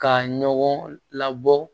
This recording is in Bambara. Ka ɲɔgɔn labɔ